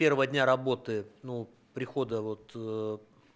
первого дня работы ну прихода вот ээ